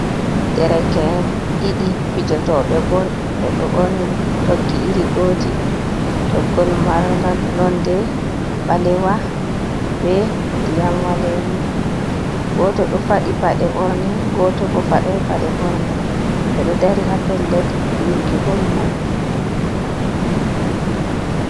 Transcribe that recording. Dereke'en ɗiɗi fijotoɓe bol, ɓe ɗo ɓorni toggi iri goti, toggol marga nonde ɓalewa be ndiyam wa lemu, goto ɗo faɗi paɗe ɓorne, goto bo fadai paɗe ɓorne, ɓe ɗo dari ha pellel fiwuki bol mai.